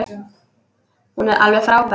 Hún er alveg frábær.